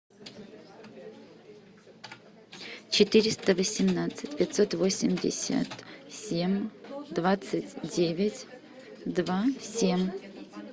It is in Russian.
четыреста восемнадцать пятьсот восемьдесят семь двадцать девять два семь